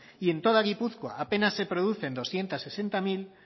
y en toda gipuzkoa apenas se producen doscientos sesenta mil